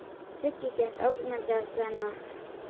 Siggi gekk ógnandi að Svenna.